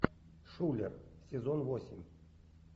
шулер сезон восемь